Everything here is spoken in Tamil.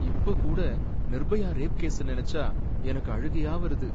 இப்பகூட நிர்பயா ரேப் கேஸ நினைச்சா எனக்கு அழுகையா வருது.